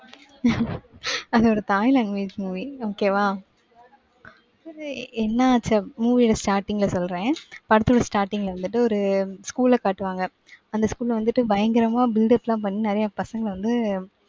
அது ஒரு thaai language movie okay வா? சரி, என்ன ஆச்சு அப்~, movie ஓட starting ல சொல்றேன். படத்தோட starting ல வந்துட்டு, ஒரு school அ காட்டுவாங்க. அந்த school ல வந்துட்டு, பயங்கரமா build up லாம் பண்ணி, நிறைய பசங்க வந்து,